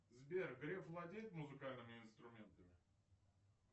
сбер греф владеет музыкальными инструментами